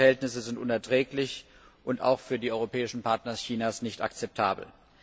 Die Verhältnisse sind unerträglich und auch für die europäischen Partner Chinas nicht akzeptabel.